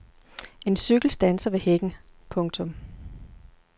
En cykel standser ved hækken. punktum